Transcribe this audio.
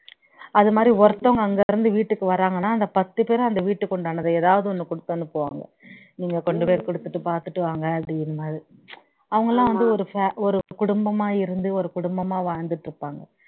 அது மாரி ஒருத்தவங்க அங்கிருந்து வீட்டுக்கு வர்றாங்கன்னா அந்த பத்து பேரும் அந்த வீட்டுக்கு உண்டானது ஏதாவது ஒண்ணு குடுத்து அனுப்புவாங்க நீங்க கொண்டு போய் குடுத்துட்டு பாத்துட்டு வாங்க அவங்கெல்லாம் வந்து ஒரு fa ஒரு குடும்பமா இருந்து ஒரு குடும்பமா வாழ்ந்துட்டு இருப்பாங்க